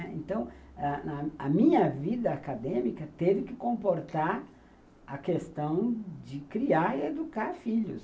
Então, a a minha vida acadêmica teve que comportar a questão de criar e educar filhos.